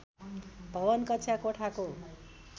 भवन कक्षा कोठाको